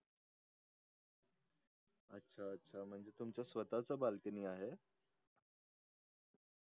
अच्छा म्हणजे तुमचे स्वताचे balcony आहे